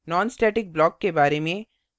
nonstatic block के बारे में